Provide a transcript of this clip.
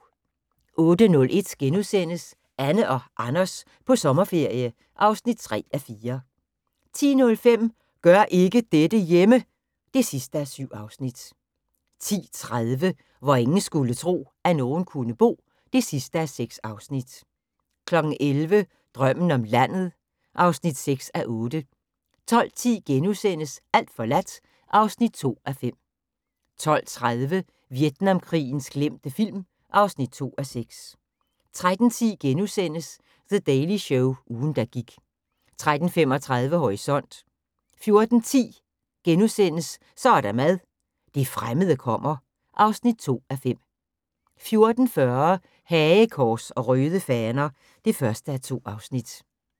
08:01: Anne og Anders på sommerferie (3:4)* 10:05: Gør ikke dette hjemme! (7:7) 10:30: Hvor ingen skulle tro, at nogen kunne bo (6:6) 11:00: Drømmen om landet (6:8) 12:10: Alt forladt (2:5)* 12:30: Vietnamkrigens glemte film (2:6) 13:10: The Daily Show – ugen der gik * 13:35: Horisont 14:10: Så er der mad - det fremmede kommer (2:5)* 14:40: Hagekors og Røde Faner (1:2)